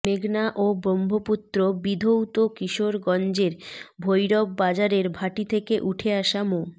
মেঘনা ও ব্রহ্মপুত্র বিধৌত কিশোরগঞ্জের ভৈরববাজারের ভাটি থেকে উঠে আসা মো